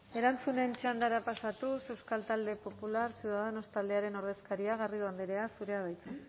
erantzunen txandara pasatuz euskal talde popular ciudadanos taldearen ordezkaria garrido andrea zurea da hitza